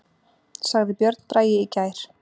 Sagði Björn Bragi í gær.